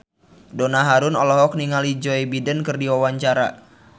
Donna Harun olohok ningali Joe Biden keur diwawancara